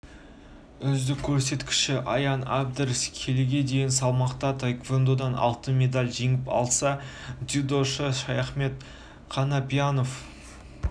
үздік көрсеткіші аян әбдраш келіге дейін салмақта таеквондодан алтын медаль жеңіп алса дзюдошы шаяхмет қанапьянов